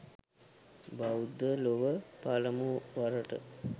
බෞද්ධ ලොව පළමු වරට